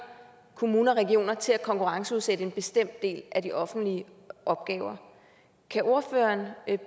kommuner og regioner til at konkurrenceudsætte en bestemt del af de offentlige opgaver kan ordføreren